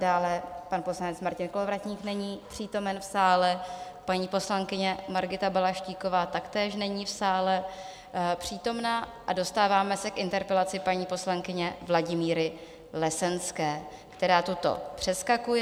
Dále pan poslanec Martin Kolovratník není přítomen v sále, paní poslankyně Margita Balaštíková taktéž není v sále přítomna a dostáváme se k interpelaci paní poslankyně Vladimíry Lesenské, která tuto přeskakuje.